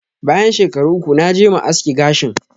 Bayan shekaru uku, naje ma aski gashin.